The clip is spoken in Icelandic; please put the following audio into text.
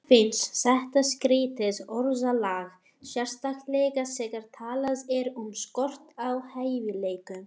Mörgum finnst þetta skrýtið orðalag, sérstaklega þegar talað er um skort á hæfileikum.